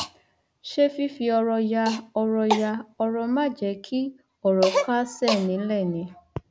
ṣé fífi ọrọ ya ọrọ ya ọrọ máa jẹ kí ọrọ kásẹ nílẹ ni